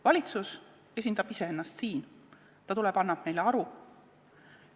Valitsus esindab siin iseennast, ta tuleb annab meile aru.